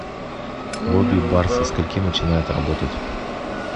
лобби бар со скольки начинает работать